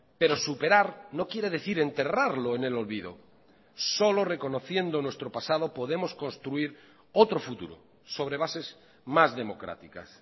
pero superar no quiere decir enterrarlo en el olvido solo reconociendo nuestro pasado podemos construir otro futuro sobre bases más democráticas